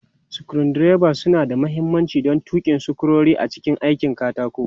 Screwdrivers suna da mahimmanci don tuki sukurori a cikin aikin katako.